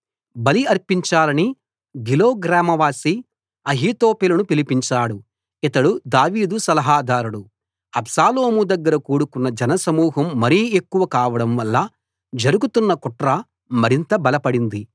బలి అర్పించాలని గిలో గ్రామ నివాసి అహీతోపెలును పిలిపించాడు ఇతడు దావీదు సలహాదారుడు అబ్షాలోము దగ్గర కూడుకొన్న జన సమూహం మరీ ఎక్కువ కావడంవల్ల జరుగుతున్న కుట్ర మరింత బలపడింది